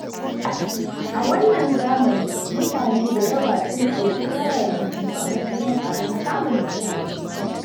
A wannan zamani mutane da yawa sun ɗauki wayar hannu a matsayin abin samun nishaɗi.